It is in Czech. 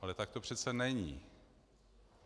Ale tak to přece není.